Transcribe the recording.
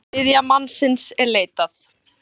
Þriðja mannsins er leitað.